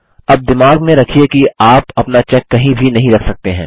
000231 000229 अब दिमाग में रखिये कि आप अपना चेक कहीं भी नहीं रख सकते हैं